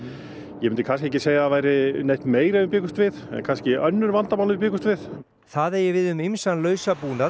ég myndi kannski ekki segja að það væri neitt meira en við bjuggumst við en kannski önnur vandamál en við bjuggumst við það eigi við um ýmsan